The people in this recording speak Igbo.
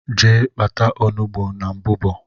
Gee kpata ọnụgbu n' mbụbo!!!!